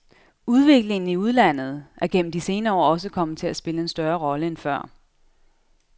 Udviklingen i udlandet er gennem de senere år også kommet til at spille en større rolle end før.